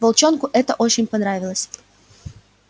волчонку это очень понравилось